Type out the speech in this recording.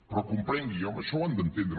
però comprenguin això ho han d’entendre